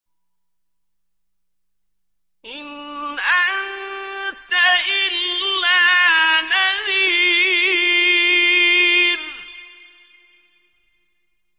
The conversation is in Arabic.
إِنْ أَنتَ إِلَّا نَذِيرٌ